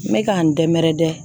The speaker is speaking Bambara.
N bɛ ka n dɛnmɛrɛdɛn